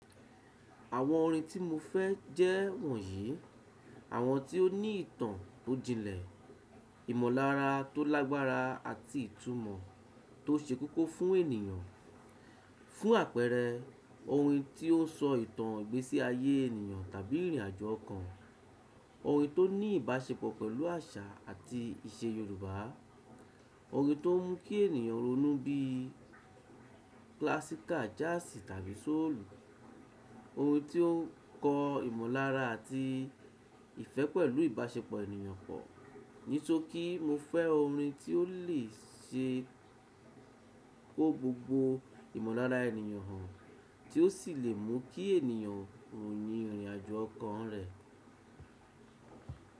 Àwọn orin tí mo fẹ́ jẹ́ wọ̀nyí, àwọn tí ó ní ìtàn tó jinlẹ̀, ìmọ̀lára tó lágbára àti ìtumọ̀ tó ṣe kókó fún ènìyàn. Fún àpẹẹrẹ, orin tí ó sọ ìtàn ìgbésí ayé ènìyàn tàbí ìrìnàjò kan, orin tó ní ìbáṣepọ̀ pẹ̀lú àṣà àti ìṣe Yorùbá, orin tó mú kí ènìyàn ronú bíi klassika, jaasi tàbí sóòlù, orin tí ó kọ ìmọ̀lára àti ìfẹ́ pẹ̀lú ìbáṣepọ̀ ènìyàn pọ̀. Nísokí, mo fẹ́ orin tí ó le ṣe kó gbogbo ìmọ̀lára ènìyàn hàn, tí ó sì lè mú kí ènìyàn rònú ní ìrìnàjò kan rẹ̀